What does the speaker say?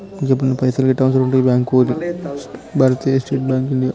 ఎప్పుడైనా పైసలు గిట్ల అవసరం ఉంటే ఈ బ్యాంకు పోరి. భారతీయ స్టేట్ బ్యాంకు ఇండియా .